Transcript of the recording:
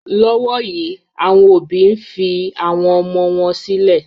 Lọ́wọ́ yìí, àwọn òbí ń fi àwọn ọmọ wọn sílẹ̀